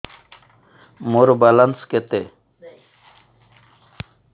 ମୋର ବାଲାନ୍ସ କେତେ